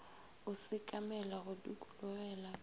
o sekamela go dikologela ka